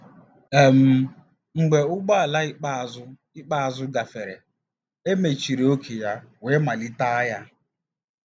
um Mgbe ụgbọ ala ikpeazụ ikpeazụ gafere, e mechiri ókè ya wee malite agha.